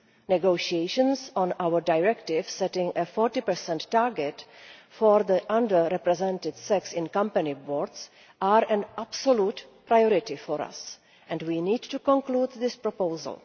Negotiations on our directive, setting a 40 target for the under represented sex on company boards, are an absolute priority for us, and we need to conclude this proposal.